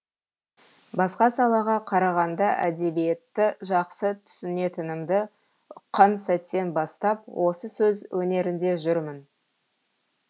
басқа салаға қарағанда әдебиетті жақсы түсінетінімді ұққан сәттен бастап осы сөз өнерінде жүрмін